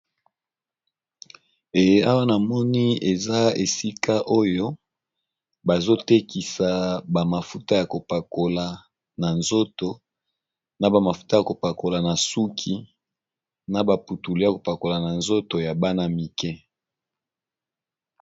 E awa na moni eza esika oyo bazotekisa na bamafuta ya kopakola na suki na baputulu ya kopakola na nzoto ya bana mike